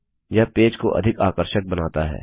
यह पेज को अधिक आकर्षक बनाता है